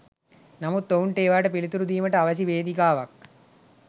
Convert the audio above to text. නමුත් ඔවුන්ට ඒවාට පිලිතුරු දීමට අවැසි වේදිකාවක්